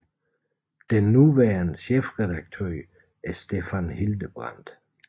Den nuværende chefredaktør er Stefan Hildebrandt